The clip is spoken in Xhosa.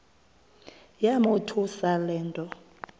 yamothusa le nto